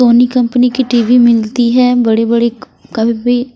Soni company की TV मिलती है बड़ी-बड़ी कभी भी--